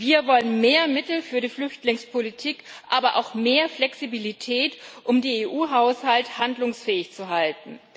Wir wollen mehr Mittel für die Flüchtlingspolitik, aber auch mehr Flexibilität, um den EU Haushalt handlungsfähig zu halten.